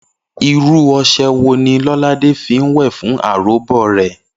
Irú o̩s̩e̩ wo ni Ló̩ládé fi ń wè̩ fún aròbó rè̩?